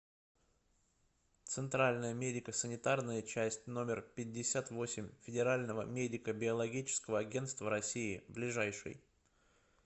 центральная медико санитарная часть номер пятьдесят восемь федерального медико биологического агентства россии ближайший